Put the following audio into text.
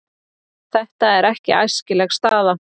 Þetta er ekki æskileg staða.